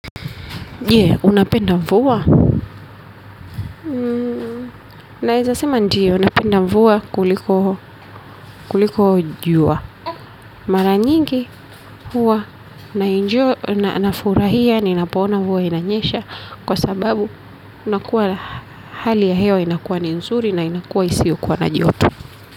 Je, unapenda mvua? Naeza sema ndio, napenda mvua kuliko jua. Mara nyingi huwa nafurahia ninapoona mvua inanyesha kwa sababu unakuwa hali ya hewa inakuwa ni nzuri na inakuwa isiokuwa na joto.